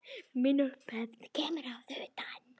Mín upphefð kemur að utan.